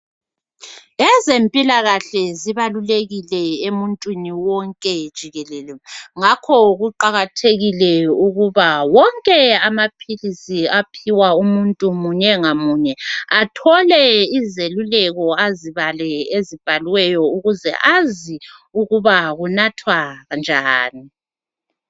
Ezemphilakahle zibalulekile emuntwini wonke jikelele ngakho kuqhakathekile ukuba wonke amaphilisi aphiwa umuntu munye ngamunye athole izeluleki ezibhaliweyo ukuze azi ukuba kunathwa njani .